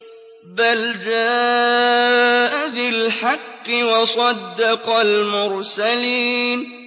بَلْ جَاءَ بِالْحَقِّ وَصَدَّقَ الْمُرْسَلِينَ